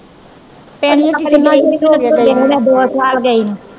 ਪਿੰਡ ਕਿੰਨਾ ਈ ਚਿਰ ਹੋਗਿਆ ਗਈ ਨੂੰ ਗਈ ਨੂੰ।